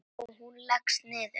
Og hún leggst niður.